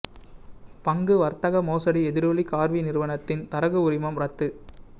பங்கு வர்த்தக மோசடி எதிரொலி கார்வி நிறுவனத்தின் தரகு உரிமம் ரத்து